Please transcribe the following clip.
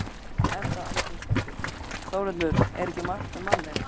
Edda Andrésdóttir: Þórhildur, er ekki margt um manninn?